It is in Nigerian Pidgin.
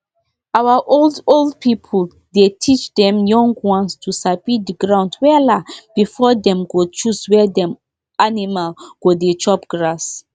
our old old pipu dey teach dem young ones to sabi the ground wella before dem go choose where dem animal go dey chop grass